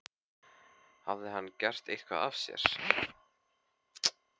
Hafði hann gert eitthvað af sér?